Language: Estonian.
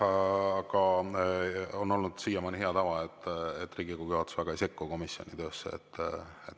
Siiamaani on olnud hea tava, et Riigikogu juhatus väga ei sekku komisjoni töösse.